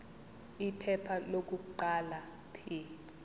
iphepha lokuqala p